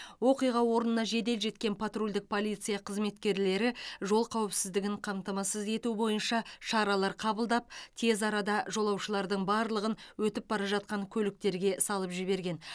оқиға орнына жедел жеткен патрульдік полиция қызметкерлері жол қауіпсіздігін қамтамасыз ету бойынша шаралар қабылдап тез арада жолаушылардың барлығын өтіп бара жатқан көліктерге салып жіберген